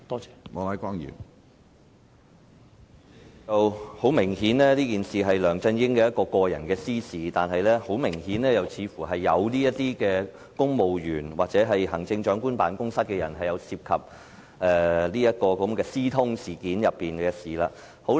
主席，很明顯，這事件是梁振英的私事，但又很明顯，似乎有公務員或行政長官辦公室的官員涉及這件私通事件中的事情。